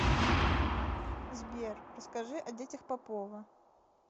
сбер расскажи о детях попова